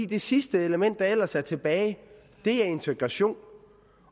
det sidste element der ellers er tilbage er integrationen